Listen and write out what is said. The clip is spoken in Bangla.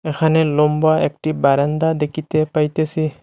এখানে লম্বা একটি বারান্দা দেখিতে পাইতেসি।